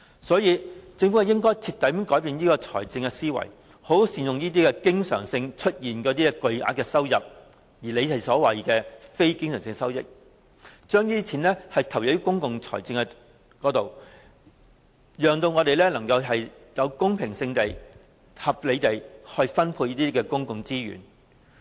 所以，政府應徹底改變這種財政思維，好好善用這些經常出現的巨額收入，即它所說的非經常性收入，將之投放到公共財政開支之上，冀能公平和合理地分配公共資源。